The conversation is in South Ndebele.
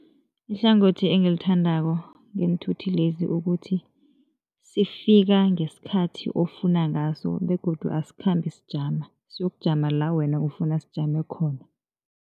Ihlangothi engilithandako ngeenthuthi lezi ukuthi, sifika ngesikhathi ofuna ngaso begodu asikhambi sijama, siyokujama la wena ofuna sijame khona.